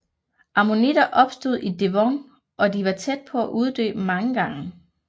Ammonitter opstod i Devon og de var tæt på at uddø mange gange